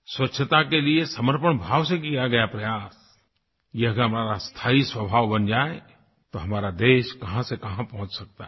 स्वच्छता के लिए समर्पण भाव से किया गया प्रयास ये अगर हमारा स्थायी स्वभाव बन जाए तो हमारा देश कहाँ से कहाँ पहुँच सकता है